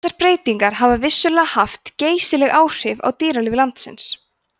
þessar breytingar hafa vissulega haft geysileg áhrif á dýralíf landsins